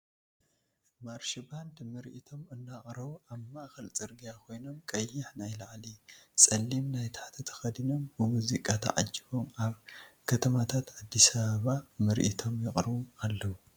ማርሽ ባንድ መርኢቶም እናቅርቡ ኣብ ማእከል ፅርግያ ኮይኖም ቀይሕ ናይ ላዕሊ ፀሊም ናይ ታሕቲ ተከዲኖም ብሙዚቃ ተዓጂቦም ኣብ ክትማታት ኣዲስ ኣበባ ምርኢቶም የቅርቡ ኣለዉ ።